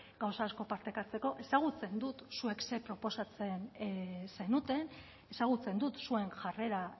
gauza asko partekatzeko ezagutzen dut zuek ze proposatzen zenuten ezagutzen dut zuen jarrera